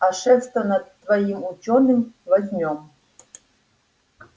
а шефство над твоим учёным возьмём